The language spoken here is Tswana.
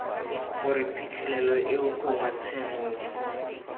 gore phitlhelelo eo gongwe tshenolo